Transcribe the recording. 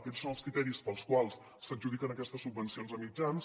aquests són els criteris pels quals s’adjudiquen aquestes subvencions a mitjans